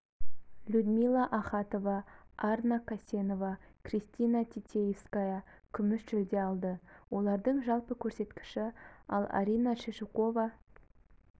людмила ахатова арна касенова кристина титиевская күміс жүлде алды олардың жалпы көрсеткіші ал арина шешукова